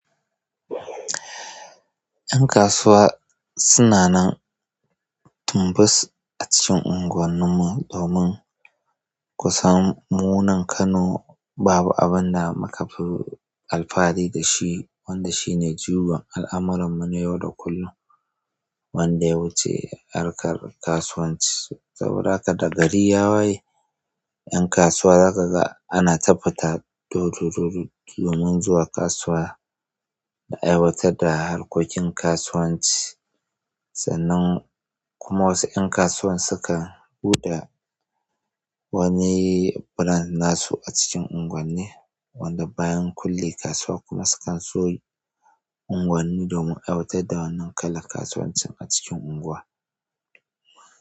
Ƴan kasuwa suna nan tumbus a cikin unguwannin mu domin kusan mu nan Kano babu abin da muka fi alfahari da shi wanda shi ne juyar al'amuran mu na yau da kullum wanda ya wuce harkar kasuwanci saboda haka da gari ya waye ƴan kasuwa za ka ga ana ta fita dododododo domin zuwa kasuwa da aiwatar da harkokin kasuwanci sannan kuma wasu ƴan kasuwan sukan buɗa wani brand nasu a cikin unguwanni wanda bayan kulle kasuwa kuma sukan soyi unguwanni domin aiwatar da wannan kalan kasuwancin a cikin unguwa.